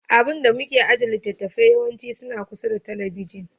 Abun da muke ajiye littattafai yawanci suna kusa da talabijin.